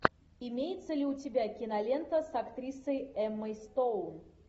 имеется ли у тебя кинолента с актрисой эммой стоун